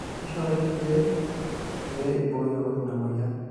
keshoori irkiek pee ibooyo ina moyian